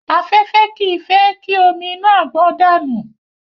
Afẹ́fẹ́ kì í fẹ́ kí omi inú àgbọn dànù.